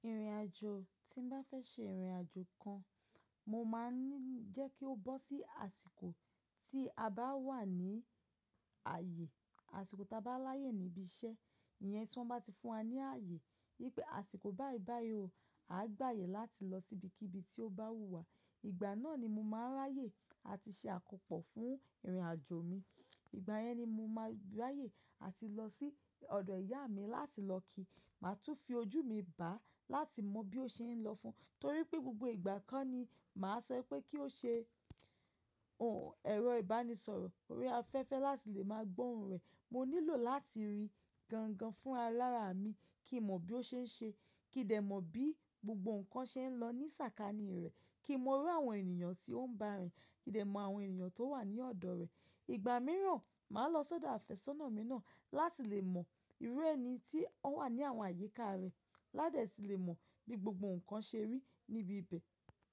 Ìrìnàjò tí n bá fẹ́ ṣe ìrìnàjò kan, mo máa ń jẹ́ kí ó bọ́ sí àsìkò tí a bá wà ní ààyè, àsìkò ta bá láyè níbi iṣẹ́. Ìyẹn tí wọ́n bá ti fún wa ní ààyè. Pé àsìkò bá yì bá yi ò a gbàyè láti lọ sí ibi kí ibi tí ó bá wù wá. Ìgbà náà ni mo máa ráyè àti ṣe àkópọ̀ fún ìrìnàjò mi. Ìgbà yẹn ni mo máa ráyè àti lọ sí ọ̀dọ̀ ìyá mi láti lọ kí, màá tún fi ojú mi bá láti mọ bí ó ṣe ń lọ fún un. Torí pé gbogbo ìgbà ko ni màá sọ pé kí ó ṣe òǹ ẹ̀rọ ìbánisọ̀rọ̀, ó rí afẹ́fẹ́ láti lè máa gbóhun rẹ̀. Mo nílò láti rí gan gan fún alára mi kí n mọ̀ bí ó ṣe ń ṣe, kí dẹ̀ mọ̀ bí gbogbo ǹkan ṣe ń lọ ní sàkání rẹ̀, kí n mọ irú àwọn ènìyàn tí ó ń bá rìn, kí dẹ̀ mọ àwọn ènìyàn tó wà ní ọ̀dọ̀ rẹ̀. Ìgbà mìíràn, màá lọ sọ́dọ̀ àfẹ́sọ́nà mi náà láti lè mọ ìrú ẹni tí ó wà ní àwọn àyíká rẹ̀, ládẹ̀ sì lè mọ̀ bí gbogbo ǹkan ṣe rí níbi ibẹ̀.